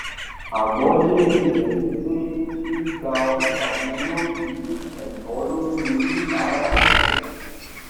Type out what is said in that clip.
àgbọyé ibẹ ni pé gbígba ọjà ni yóò fi ẹtọ lórí oníbàárà rinlẹ